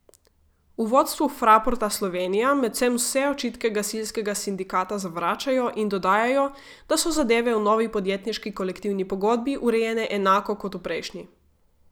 V vodstvu Fraporta Slovenija medtem vse očitke gasilskega sindikata zavračajo in dodajajo, da so zadeve v novi podjetniški kolektivni pogodbi urejene enako kot v prejšnji.